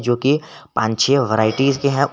जो की पांच छे वैरायटी के हैं।